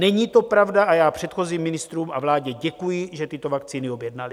Není to pravda a já předchozím ministrům a vládě děkuji, že tyto vakcíny objednali.